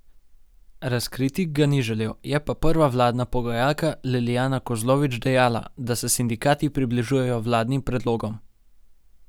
Razkriti ga ni želel, je pa prva vladna pogajalka Lilijana Kozlovič dejala, da se sindikati približujejo vladnim predlogom.